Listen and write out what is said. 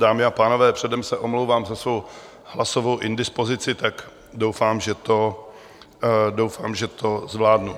Dámy a pánové, předem se omlouvám za svou hlasovou indispozici, tak doufám, že to zvládnu.